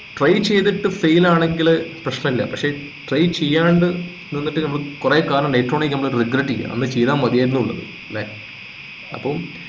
try ചെയ്തിട്ട് fail ആണെങ്കിൽ പ്രശ്നല്ല പക്ഷെ try ചെയ്യാണ്ട് നിന്നിട്ട് നമ്മള് കൊറേ കാലം later on ആയിട്ട് ആയിരിക്കും നമ്മള് regret ചെയ്യുക അന്ന് ചെയ്തമതിയായിരുന്ന് ഉള്ളത് അല്ലെ. അപ്പൊ